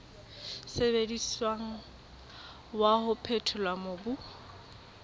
sebediswang wa ho phethola mobu